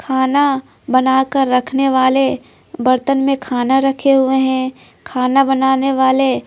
खाना बनाकर रखने वाले बर्तन में खाना रखे हुए हैं खाना बनाने वाले--